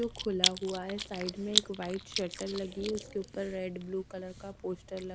जो खुला हुआ है साइड में एक व्हाइट शटल लगी है उसके ऊपर रेड ब्लू कलर का पोस्टर ल--